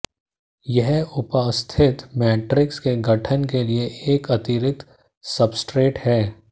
यह उपास्थि मैट्रिक्स के गठन के लिए एक अतिरिक्त सब्सट्रेट है